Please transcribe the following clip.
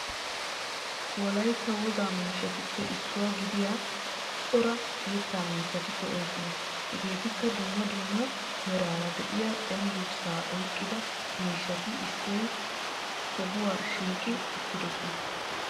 wolaytta woga miishshatuppe issuwaa gidiya coora yetta miishshatti de'osonna. hegeetikka duummaa duummaa meraara de'iya cengguurrssa oyqqida miishshati issi sohuwa shiiqi uttidosona.